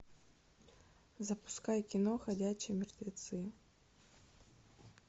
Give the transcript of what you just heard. запускай кино ходячие мертвецы